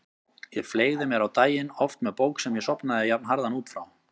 Ég fleygði mér á daginn, oft með bók sem ég sofnaði jafnharðan út frá.